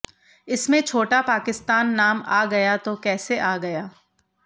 इसमें छोटा पाकिस्तान नाम आ गया तो कैसे आ गया